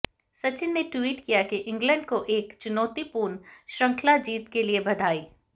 सचिन ने ट्वीट किया कि इंग्लैंड को एक चुनौतीपूर्ण श्रृंखला जीत के लिए बधाई